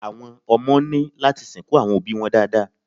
Àwọn ọmọ ní láti sìnkú àwọn òbíi wọn dáadáa.